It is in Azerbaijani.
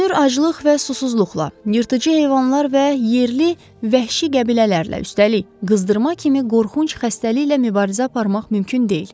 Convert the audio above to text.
Görünür aclıq və susuzluqla, yırtıcı heyvanlar və yerli vəhşi qəbilələrlə, üstəlik qızdırma kimi qorxunc xəstəliklə mübarizə aparmaq mümkün deyil.